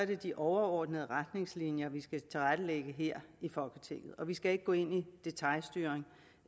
det de overordnede retningslinjer vi skal tilrettelægge her i folketinget vi skal ikke gå ind i en detailstyring